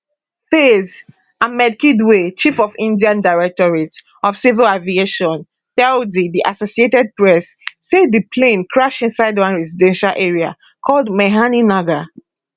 faiz um ahmed kidwai chief of india directorate of civil aviation tell di di associated press say di plane crash inside one residential area called meghani nagar